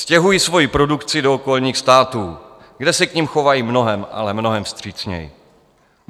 Stěhuji svoji produkci do okolních států, kde se k nim chovají mnohem, ale mnohem vstřícněji.